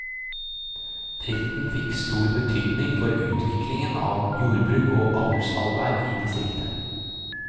Driften fikk stor betydning for utviklingen av jordbruk og avlsarbeid i distriktet.